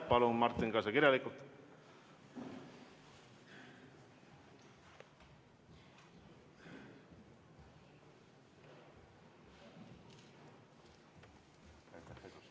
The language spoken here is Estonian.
Palun, Martin, see ka kirjalikult!